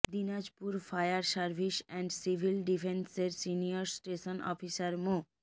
Dinajpur fire service and civil ডিফেন্সের senior station officer মো